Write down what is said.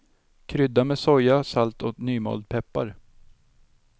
Krydda med soja, salt och nymald peppar.